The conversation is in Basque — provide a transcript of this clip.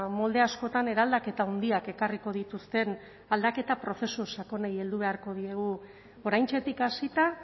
molde askotan eraldaketa handiak ekarriko dituzten aldaketa prozesu sakonei heldu beharko diegu oraintxetik hasita